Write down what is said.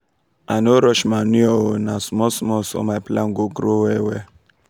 i no rush manure oo na small small so my plants go grow well well.